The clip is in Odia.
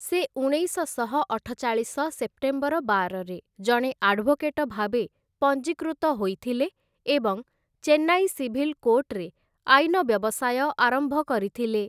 ସେ ଉଣେଇଶଶହ ଅଠଚାଳିଶ ସେପ୍ଟେମ୍ବର ବାରରେ ଜଣେ ଆଡଭୋକେଟଭାବେ ପଞ୍ଜୀକୃତ ହୋଇଥିଲେ ଏବଂ ଚେନ୍ନାଇ ସିଭିଲ କୋର୍ଟରେ ଆଇନ ବ୍ୟବସାୟ ଆରମ୍ଭ କରିଥିଲେ ।